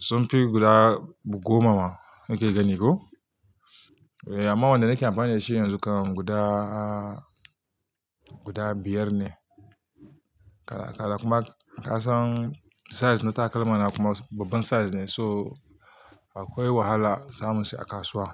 sun fi guda goma ma nake gani ko. Eh amma wanda nake amfani da shi yanzu kam guda, guda biyar ne. Kada, kada kuma kasan size na takalma na kuma babban size ne so akwai wahala samu shi a kasuwa.